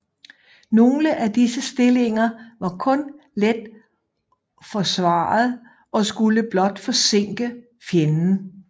Nogle af disse stillinger var kun let forsvaret og skulle blot forsinke fjenden